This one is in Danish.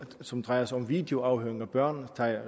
som drejer sig om videoafhøring af børn